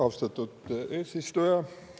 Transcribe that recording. Austatud eesistuja!